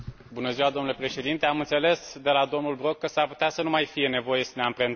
Domnule președinte, am înțeles de la domnul Brok că s ar putea să nu mai fie nevoie să ne amprentăm.